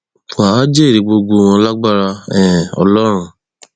wà á jèrè gbogbo wọn lágbára um ọlọrun